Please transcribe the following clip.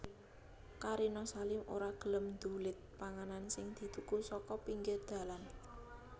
Karina Salim ora gelem ndulit panganan sing dituku saka pinggir dalan